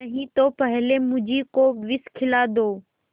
नहीं तो पहले मुझी को विष खिला दो